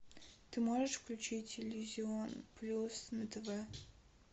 ты можешь включить иллюзион плюс на тв